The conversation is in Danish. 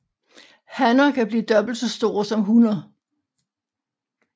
Hanner kan blive dobbelt så store som hunner